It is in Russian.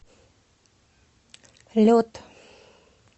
лед